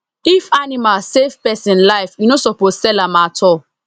if animal save person life you no suppose sell am at all